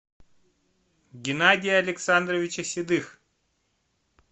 геннадия александровича седых